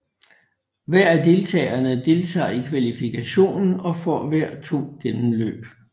Hver af deltagerne deltager i kvalifikationen og får hver to gennemløb